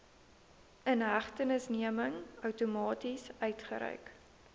inhegtenisneming outomaties uitgereik